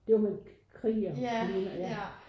Det var med krig og så videre ja